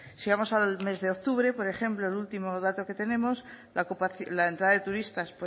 si vamos al mes de octubre por ejemplo el último dato que tenemos la entrada de turistas